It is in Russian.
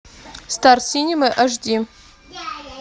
стар синема аш ди